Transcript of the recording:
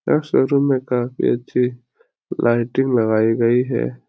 यह शोरूम में काफी अच्छी लाइटिंग लगाईं गयी है।